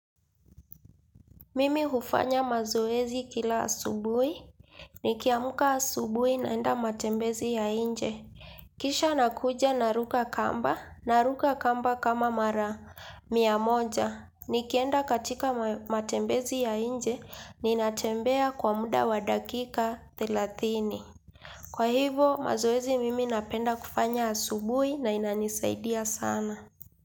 Mimi hufanya mazoezi kila asubuhi. Nikiamka asubuhi naenda matembezi ya inje. Kisha nakuja naruka kamba. Naruka kamba kama mara mia moja. Nikienda katika matembezi ya inje. Ninatembea kwa muda wa dakika thelathini. Kwa hivo mazoezi mimi napenda kufanya asubuhi na inanisaidia sana.